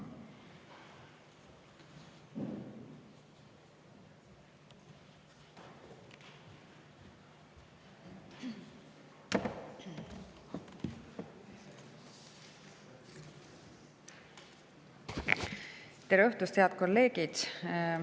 Tere õhtust, head kolleegid!